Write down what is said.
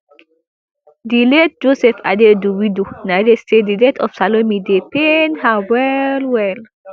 di late joseph adaidu widow narrate say di death of salome dey pain her wellwell